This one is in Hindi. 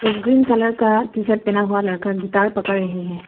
ग्रीन कलर का टीशर्ट हुआ लड़का गिटार पकड़ रहे है।